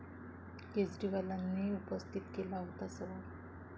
केजरीवालांनी उपस्थित केला होता सवाल